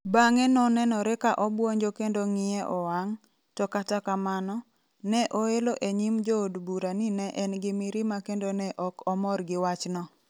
Bang'e nonenore ka obwonjo kendo ng'iye owang ', to kata kamano, ne oelo e nyim jo od bura ni ne en gi mirima kendo ne ok omor gi wachno.